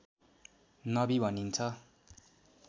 नबी भनिन्छ